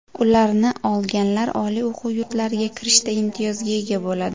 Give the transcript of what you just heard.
Ularni olganlar oliy o‘quv yurtlariga kirishda imtiyozga ega bo‘ladi.